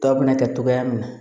Tɔ bɛna kɛ togoya min na